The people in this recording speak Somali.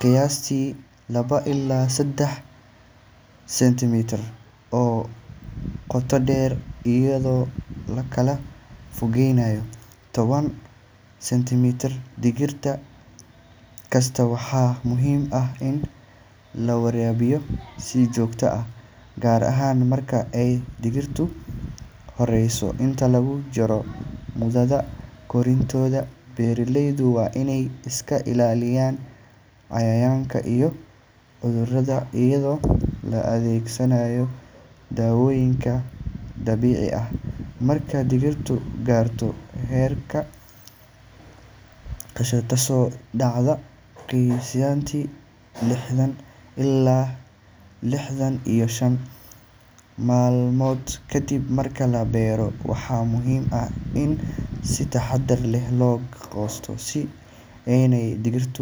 qiyaastii laba ilaa saddex sentimitir oo qoto dheer, iyadoo la kala fogeynayo toban sentimitir digir kasta. Waxaa muhiim ah in la waraabiyo si joogto ah, gaar ahaan marka ay digirtu korayso. Inta lagu jiro muddada koritaanka, beeraleydu waa inay iska ilaaliyaan cayayaanka iyo cudurrada iyadoo la adeegsanayo dawooyinka dabiiciga ah. Marka digirtu gaarto heerka goosashada, taasoo dhacda qiyaastii lixdan ilaa lixdan iyo shan maalmood kadib marka la beero, waxaa muhiim ah in si taxadar leh loo goosto si aanay digirtu.